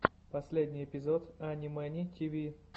последний эпизод ани мэни тиви